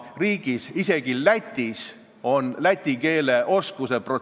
Ma ei näe selle küsimuse seost tänase eelnõuga ja tegelikult ka mitte otsest seost minu kui saadikuga.